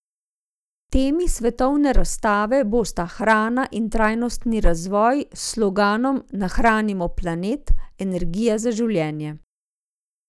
Temi svetovne razstave bosta hrana in trajnostni razvoj s sloganom Nahranimo planet, energija za življenje.